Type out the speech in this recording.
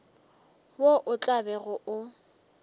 wo o tla bego o